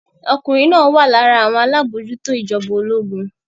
Ọkùnrin náà wà lára àwọn alábòójútó ìjọba ológun.